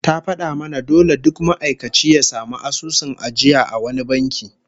Ta fada mana dole duk ma'aikaci ya samu asusun ajiya a wani banki